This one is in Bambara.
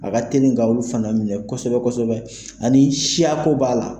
A ka teli ka olu fana minɛ kosɛbɛ , ani siyako b'a la.